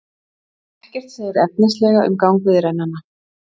Ekkert segir efnislega um gang viðræðnanna